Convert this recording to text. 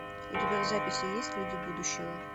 у тебя в записи есть люди будущего